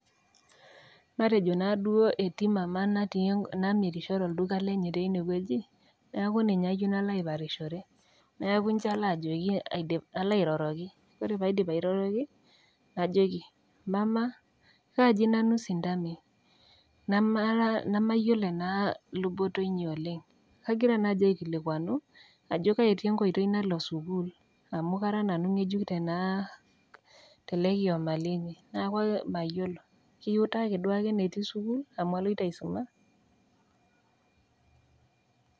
Matejo naa duo etii mamaa namirisho tolduka lenye teine wueji neaku ninye ayou nalo aiparishore. Neaku inchi aiko pee alo aiparishore, neaku inchi ilo ajoki, alo airoroki, ore pee aidip airoroki najoki, 'mamaa kaaji nanu sintamei, namayiolo ena luboto inyi oleng' nagira naaji aikilikwanu ajo kai etii enkoitoi nalo sukuul, amu kara nanu ng'ejuk tele kioma linyi, neaku mayiolo, kiutaki duake enetii sukuul amu aloito aisuma.